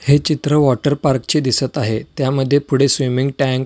हे चित्र water park चे दिसत आहे त्यामध्ये पुढे स्विमिंग टॅंक --